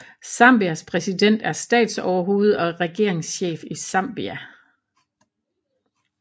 Zambias præsident er statsoverhoved og regeringschef i Zambia